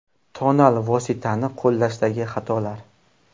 Tonal vositani qo‘llashdagi xatolar.